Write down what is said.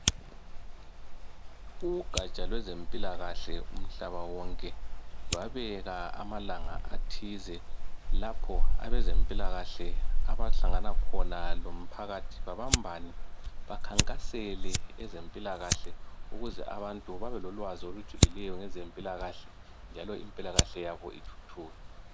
Ugatsha lwezempilakahle umhlaba wonke lwabeka amalanga athize lapho abezempilakahle abahlangana khona lomphakathi babambane bakhankasele ezempilakahle ukuze abantu babelolwazi olujulileyo ngezempilakahle njalo impilakahle yabo ithuthuke.